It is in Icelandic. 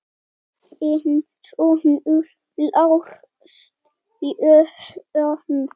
Þinn sonur, Lars Jóhann.